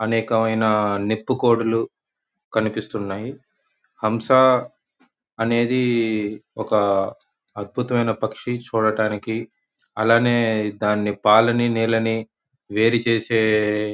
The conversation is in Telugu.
అనేకమైన నిప్పు కోడులు కనిపిస్తున్నాయి. హంస అనేది ఒక అద్భుతమైన పక్షి. చూడడానికి అలానే దాన్ని పాలని నీళ్ళని వేరు చేసే--